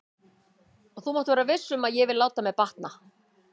Og þú mátt vera viss um að ég vil láta mér batna.